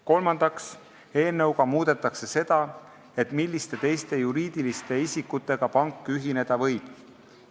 Kolmandaks, eelnõuga muudetakse seda, milliste teiste juriidiliste isikutega pank ühineda võib.